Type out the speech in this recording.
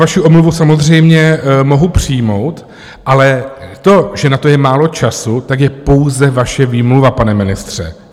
Vaši omluvu samozřejmě mohu přijmout, ale to, že na to je málo času, tak je pouze vaše výmluva, pane ministře.